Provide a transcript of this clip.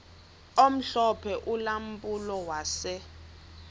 omhlophe ulampulo wase